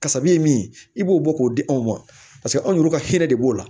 Kasabi ye min i b'o bɔ k'o di anw ma paseke anw ka hɛrɛ de b'o la